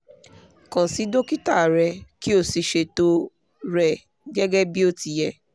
kàn sí dókítà rẹ kí o sì ṣètò rẹ gẹ́gẹ́ bí ó ti yẹ